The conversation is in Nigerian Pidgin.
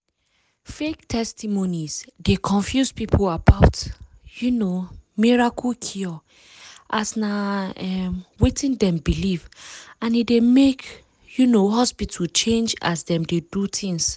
fake testimonies deu confuse people about um miracle cure as na um wetin dem believe and e dey make um hospital change as dem dey do things.